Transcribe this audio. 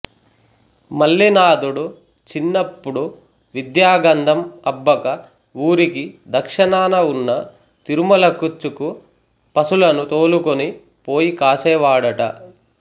మల్లినాథుడు చిన్నపుడు విద్యాగంధం అబ్బక వూరికి దక్షిణాన వున్న తిరుమలకుచ్చకు పసులను తోలుకుని పోయి కాసేవాడట